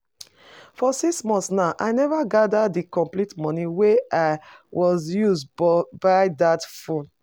For six months now I never gather the complete money wey I was use buy dat phone